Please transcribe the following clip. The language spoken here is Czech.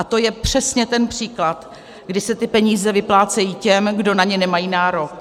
A to je přesně ten příklad, kdy se ty peníze vyplácejí těm, kdo na ně nemají nárok.